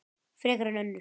Frekar en önnur.